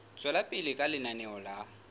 tswela pele ka lenaneo la